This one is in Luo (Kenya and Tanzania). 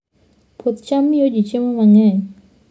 Puoth cham miyo ji chiemo mang'eny.